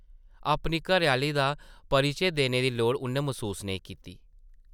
अपनी घरै-आह्ली दा परिचे देने दी लोड़ उʼन्नै मसूस नेईं कीती।